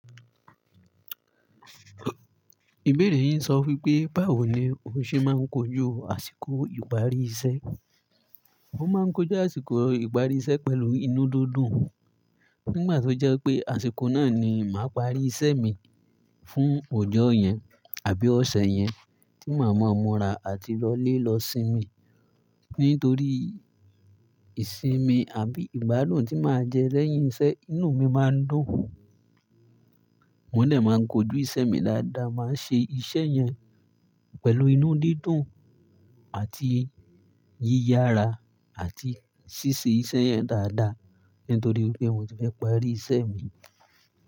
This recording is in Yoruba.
Ìbéèrè yin sọ wípé, báwo ni ó ṣe máa ń kojú àsìkò ìparí iṣẹ́? Mo máa ń kojú àsìkò ìparí iṣẹ́ pẹ̀lú inú dídùn nígbà tó jẹ́ pé àsìkò náà ni màá parí iṣẹ́ mi fún ọjọ́ yẹn àbí ọ̀sẹ̀ yẹn tí màá mọ̀ ọ́n mọ́ra àti lọlé lọ sinmi. Nítorí ìsinmi àbí ìgbádùn tí màá jẹ lẹ́yìn iṣẹ́, inú mi máa ń dùn. Mò ń dè máa ń kojú iṣẹ́ mi dáadáa, màá ṣe iṣẹ́ yẹn pẹ̀lú inú dídùn àti yíyára àti ṣíṣe iṣẹ́ yẹn dáadáa nítorí wípé mo ti fẹ́ parí iṣẹ́ mi.